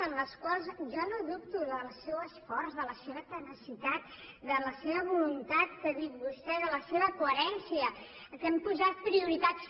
per les quals jo no dubto del seu esforç de la seva tenacitat de la seva voluntat que ha dit vostè de la seva coherència que han posat prioritats